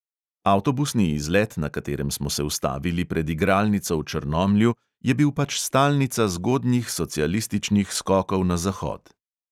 Avtobusni izlet, na katerem smo se ustavili pred igralnico v črnomlju, je bil pač stalnica zgodnjih socialističnih skokov na zahod.